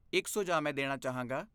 ਇੱਕ ਸੁਝਾਅ ਮੈਂ ਦੇਣਾ ਚਾਹਾਂਗਾ।